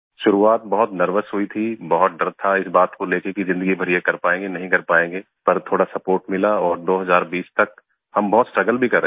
शुरुआत बहुत नर्वस हुई थी बहुत डर था इस बात को लेके कि जिंदगी भर ये कर पाएँगे कि नहीं कर पाएँगे पर थोड़ा सपोर्ट मिला और 2020 तक हम बहुत स्ट्रगल भी कर रहे थे honestly